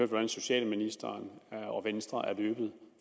hvordan socialministeren og venstre er løbet